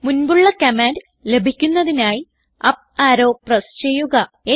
മുൻപുള്ള കമാൻഡ് ലഭിക്കുന്നതിനായി up arrow press ചെയ്യുക